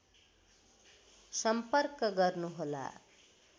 सम्पर्क गर्नुहोला